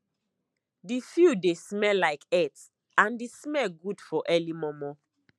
the field dey smell like earth and the smell good for early momo